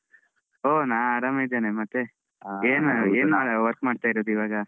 ಓ ನಾ ಆರಾಮಿದ್ದೇನೆ, ಮತ್ತೆ ಏನ್ ಏನ್ work ಮಾಡ್ತಾ ಇರೋದು ಇವಾಗ.